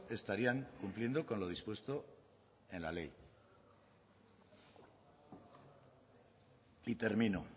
estarían cumpliendo con lo dispuesto en la ley y termino